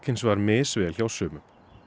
misvel hjá sumum